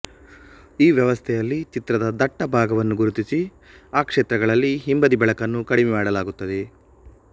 ಈ ವ್ಯವಸ್ಥೆಯಲ್ಲಿ ಚಿತ್ರದ ದಟ್ಟ ಭಾಗವನ್ನು ಗುರುತಿಸಿ ಆ ಕ್ಷೇತ್ರಗಳಲ್ಲಿ ಹಿಂಬದಿ ಬೆಳಕನ್ನು ಕಡಿಮೆ ಮಾಡಲಾಗುತ್ತದೆ